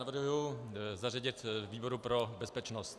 Navrhuji zařadit výboru pro bezpečnost.